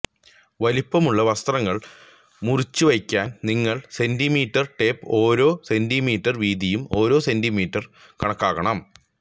വലുപ്പമുള്ള വസ്ത്രങ്ങൾ മുറിച്ചുവയ്ക്കാൻ നിങ്ങൾ സെന്റിമീറ്റർ ടേപ്പ് ഓരോ സെന്റിമീറ്റർ വീതിയും ഓരോ സെന്റീമീറ്ററും കണക്കാക്കണം